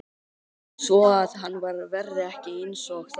Svoað hann verði ekki einsog þau.